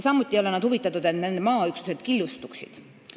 Samuti ei ole nad huvitatud sellest, et nende maaüksused killustuksid.